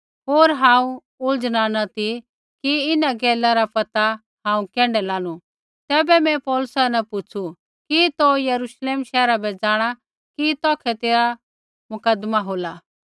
होर हांऊँ उलझना न ती कि इन्हां गैला रा पैता हांऊँ कैण्ढै लानू तैबै मैं पौलुसा न पुछ़ू कि तौ यरूश्लेम शैहरा बै जाँणा कि तौखै तेरा मुकदमा होला